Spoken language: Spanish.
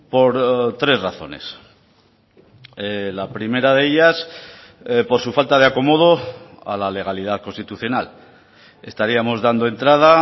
por tres razones la primera de ellas por su falta de acomodo a la legalidad constitucional estaríamos dando entrada